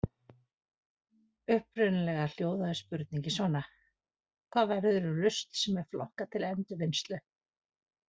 Upprunalega hljóðaði spurningin svona: Hvað verður um rusl sem er flokkað til endurvinnslu?